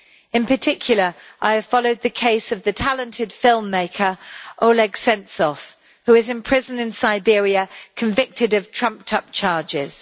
In particular, I have followed the case of the talented filmmaker Oleg Sentsov, who is in prison in Siberia, convicted on trumped up charges.